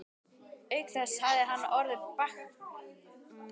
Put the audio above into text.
Auk þess hafði hann orð bartskerans fyrir því að